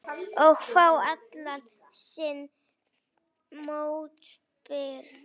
Og fá allan sinn mótbyr.